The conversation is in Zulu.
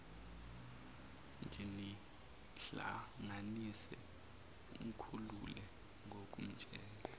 nginihlanganise umkhulule ngokumtshela